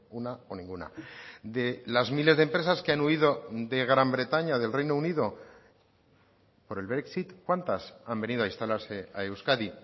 una o ninguna de las miles de empresas que han huido de gran bretaña del reino unido por el brexit cuántas han venido a instalarse a euskadi